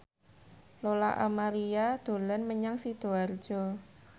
Lola Amaria dolan menyang Sidoarjo